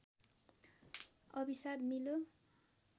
अभिशाप मिल्यो